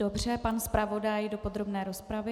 Dobře, pan zpravodaj do podrobné rozpravy.